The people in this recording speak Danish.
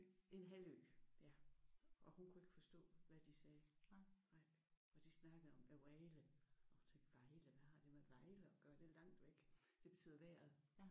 En halvø ja. Og hun kunne ikke forstå hvad de sagde og de snakkede om hvad vejret. Og hun tænkte Vejle hvad har det med Vejle at gøre? Det er jo langt væk. Det betyder vejret